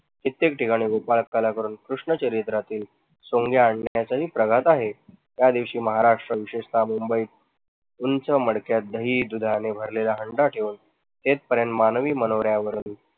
कित्येक ठिकाणी गोपाळ काला करून कृष्ण चरित्रातील सोंगे आणण्याचाही प्रघात आहे. त्या दिवशी महाराष्ट्र विशेषतः मुंबई उंच मडक्यात दही दुधाने भरलेला हंडा ठेऊन मानवी मनोऱ्यावरून